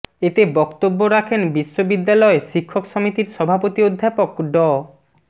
এতে বক্তব্য রাখেন বিশ্ববিদ্যালয় শিক্ষক সমিতির সভাপতি অধ্যাপক ড